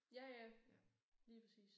Ja ja lige præcis